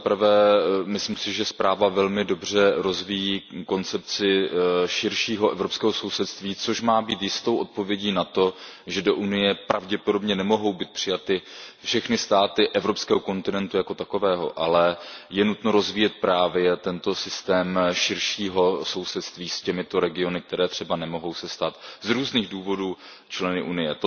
Za prvé, myslím si, že zpráva velmi dobře rozvíjí koncepci širšího evropského sousedství, což má být jistou odpovědí na to, že do Unie pravděpodobně nemohou být přijaty všechny státy evropského kontinentu jako takového, ale je nutno rozvíjet právě tento systém širšího sousedství s těmito regiony, které se třeba nemohou stát z různých důvodů členy Unie.